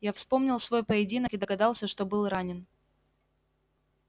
я вспомнил свой поединок и догадался что был ранен